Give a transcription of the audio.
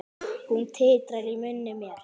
Hún titrar í munni mér.